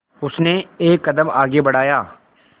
उसने एक कदम आगे बढ़ाया